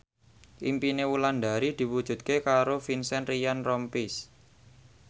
impine Wulandari diwujudke karo Vincent Ryan Rompies